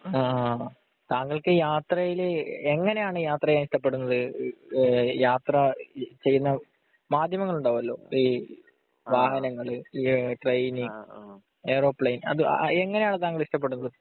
അഹ് അഹ് താങ്കൾക്ക് യാത്രയിൽ എങ്ങിനെയാണ് യാത്രയെ ഇഷ്ടപ്പെടുന്നത് ഈഹ് യാത്ര ചെയ്യുന്ന മാധ്യമങ്ങൾ ഉണ്ടാവോലോ ഈ വാഹനങ്ങൾ ഈ ട്രെയിൻ ഏറോപ്ലെയ്‌ൻ എങ്ങിനെ ആണ് താങ്കൾ ഇഷ്ടപ്പെടുന്നത്